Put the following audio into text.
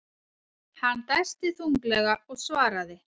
Hann dæsti þunglega og svaraði.